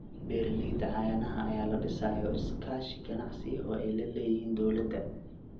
Beeralayda caanaha ayaa la dhisayo iskaashi ganacsi oo ay la leeyihiin dawladda.